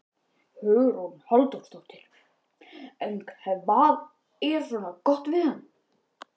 Hugrún Halldórsdóttir: En hvað er svona gott við hann?